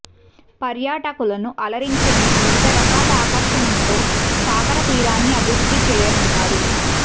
పర్యాటకులను అలరించేందుకు వివిధ రకాల ఆకర్షణలతో సాగర తీరాన్ని అభివృద్ధి చేయనున్నారు